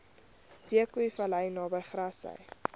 zeekoevlei naby grassy